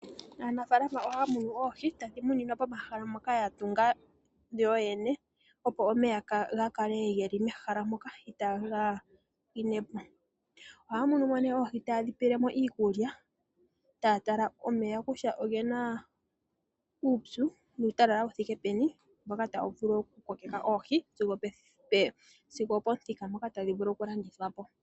Aanafaalama ohaya munu oohi tadhi muninwa momahala ngoka ya tunga yoyene, opo omeya ga kale ge li mehala moka itaaga pwine po. Ohaya munine mo oohi taye dhi pe iikulya, taya tala omeya kutya oge na uupyu nuutalala wu thike peni mboka tawu vulu okukokeka oohi sigo opomuthika mpoka tadhi vulu okulandithwa po.